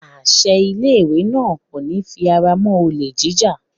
Àṣẹ ilé ìwé náà kò ní fi ara mọ́ olè jíjà.